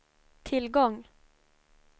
tillgång